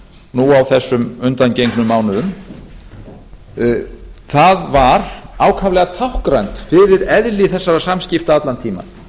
nú á þessum undangengnu mánuðum var ákaflega táknrænt fyrir eðli þessara samskipta allan tímann